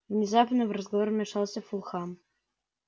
внезапно в разговор вмешался фулхам